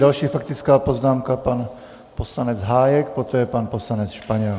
Další faktická poznámka, pan poslanec Hájek, poté pan poslanec Španěl.